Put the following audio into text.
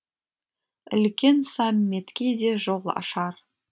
үлкен саммитке де жол ашар